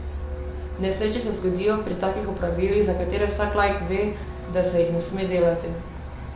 Nesreče se zgodijo pri takih opravilih, za katere vsak laik ve, da se jih ne sme delati.